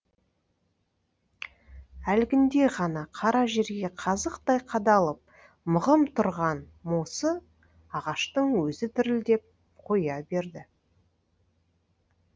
әлгінде ғана қара жерге қазықтай қадалып мығым тұрған мосы ағаштың өзі дірілдеп қоя берді